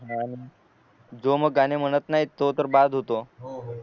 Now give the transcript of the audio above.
जो मग गाणे म्हणत नाही तो तर बाहर होतो